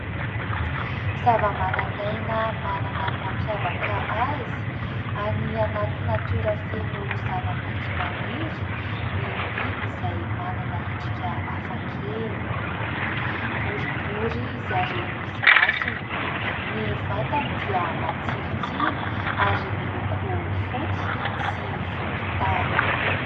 Zavamananaina manana ny mampiavaka azy, any anaty natiora feno zavamaitso maniry ny biby izay manana endrika hafa kely : boribory izy ary misy masony, ny vatany dia matsilotsilo ary miloko fotsy sy volontany.